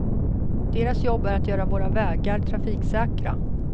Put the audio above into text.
Deras jobb är att göra våra vägar trafiksäkra.